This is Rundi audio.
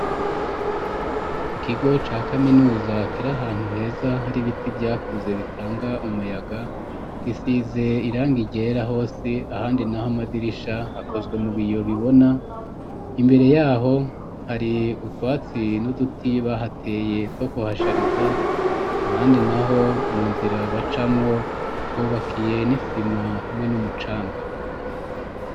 Ikigo ca kaminuza kiri ahantu heza hari ibiti vyakuze bitanga umuyaga gisize iranga ryera hose ahandi naho amadirisha hakozwe mu biyo bibona imbere yaho hari utwatsi n'uduti bahateye two kuhashariza ahandi naho mu nzira bacamwo hubakiye n'isima hamwe n'umucanga